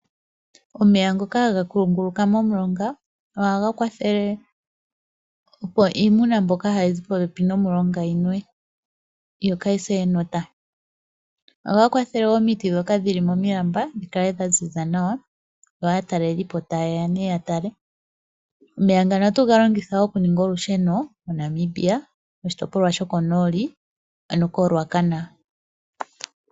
Omeya ngoka haga kunguluka momulonga ohaga kwathele opo iimuna mbyoka hayi zi popepi nomulonga yinwe yo kayise enota. Ohaga kwathele wo omiti ndhoka dhili momilamba dhi kale dha ziza nawa yo aatalelipo tayeya ne ya tale. Omeya ngano ohatu ga longitha wo okuninga olusheno moNamibia moshitopolwa shokonooli ano ko Raucana.